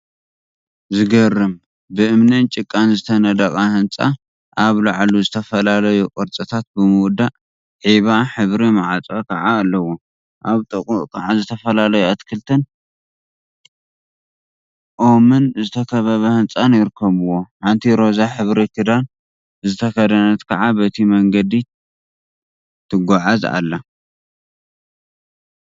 ዝገርም! ብእምኒን ጭቃን ዝተነደቀ ህንጻ ኣብ ላዕሉ ዝተፈላለዩ ቅርጺታት ብምውጻእ ዒባ ሕብሪ ማዕጾ ከዓ ኣለዎ። ኣብ ጥቕኡ ከዓ ዝተፈላለዩ ኣትክልትን ባኦም ዝተካበበ ህንጻን ይርከቡዎ። ሓንቲ ሮዛ ሕብሪ ክዳን ዝተከደነት ከዓ በቲ መንገዲ ትጉዓዝ ኣላ።